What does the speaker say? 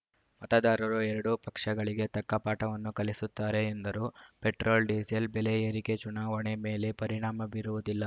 ಮತದಾರರು ಎರಡೂ ಪಕ್ಷಗಳಿಗೆ ತಕ್ಕ ಪಾಠವನ್ನು ಕಲಿಸುತ್ತಾರೆ ಎಂದರು ಪೆಟ್ರೋಲ್‌ ಡಿಸೇಲ್‌ ಬೆಲೆ ಏರಿಕೆ ಚುನಾವಣೆ ಮೇಲೆ ಪರಿಣಾಮ ಬೀರುವುದಿಲ್ಲ